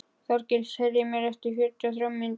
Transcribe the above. Þorgísl, heyrðu í mér eftir fjörutíu og þrjár mínútur.